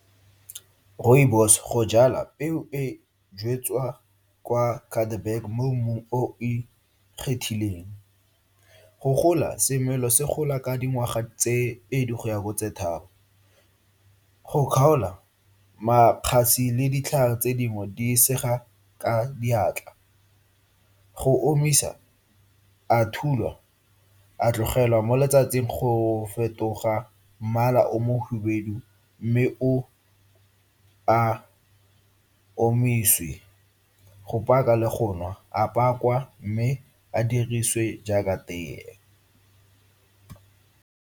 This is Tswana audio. Rooibos go jwalwa peo e jwalwa kwa mo mmung o o ikgethileng. Go gola semela se gola ka dingwaga tse pedi go ya go tse tharo. Go kgaola makgasi le ditlhare tse dingwe di segwa ka diatla. Go omisa, a thulwa, a tlogelwa mo letsatsing go fetoga mmala o mo hubedu mme o a omise. Go paka le go nwa, a pakwa mme a dirisiwe jaaka teye.